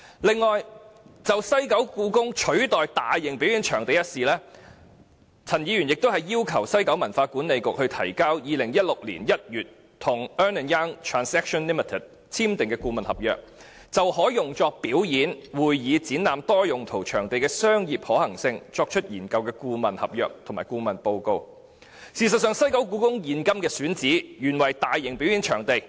此外，就故宮館取代大型表演場地一事，陳議員亦要求政府就西九管理局於2016年1月與 Ernst & Young Transactions Limited 簽訂的顧問合約，就可用作表演、會議、展覽的多用途場地的商業可行性作出研究，提交相關顧問合約及顧問報告。事實上，故宮館現今的選址原為大型表演場地。